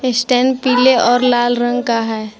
Stand पीले और लाल रंग का है।